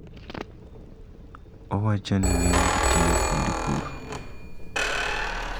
Owacho ni ng`enygi tiyo kuonde pur